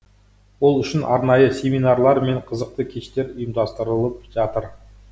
ол үшін арнайы семинарлар мен қызықты кештер ұйымдастырылып жатыр